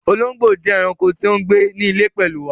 Òlòngbó jẹ́ ẹ̀raǹkò tí o ńgbẹ̀ ní ilẹ̀ pẹ̀lu wà